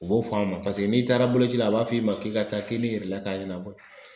U b'o fɔ an ma paseke n'i taara boloci la a b'a f'i ma k'i ka taa k'i ni k'a ɲɛnabɔ.